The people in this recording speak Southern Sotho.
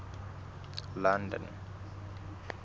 london